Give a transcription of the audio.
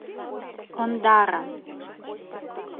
ондара